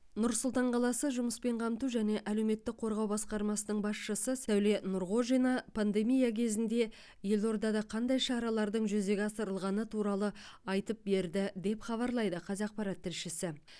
нұр сұлтан қаласы жұмыспен қамту және әлеуметтік қорғау басқармасының басшысы сәуле нұрғожина пандемия кезінде елордада қандай шаралардың жүзеге асырылғаны туралы айтып берді деп хабарлайды қазақпарат тілшісі